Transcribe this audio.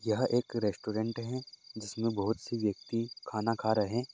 यहाँ एक रेस्टोरेंट है जिस में बहुत से व्यक्ति खाना खा रहे--